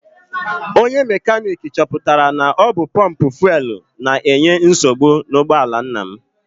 Onye mekaniki chọpụtara na ọ bụ pọmpụ fuelu na-enye nsogbu n'ụgbọala nna m.